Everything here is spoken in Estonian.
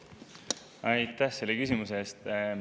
Aitäh selle küsimuse eest!